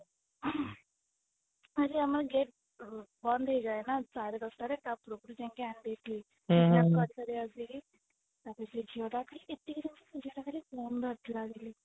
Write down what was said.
ଆରେ ଆମ gate ବନ୍ଦ ହେଇ ଯାଏ ନା ସାଢେ ଦଶଟାରେ ତାପୂର୍ବରୁ ଯାଇକି ଆଣି ଦେଇଥିଲି ସେ ଝିଅ ଟା ଖାଲି ଏତିକି ଜାଣିଛି ସେ ଝିଅଟା ଖାଲି phone ଧରିଥିଲ